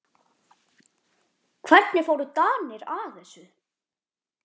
Hvernig fóru Danir að þessu?